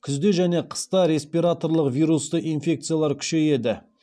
күзде және қыста респираторлық вирусты инфекциялар күшейеді